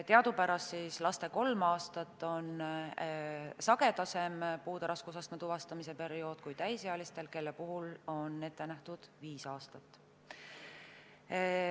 Teadupärast on lastel puude raskusastme tuvastamise periood kolm aastat lühem kui täisealistel, kelle puhul on ette nähtud viis aastat.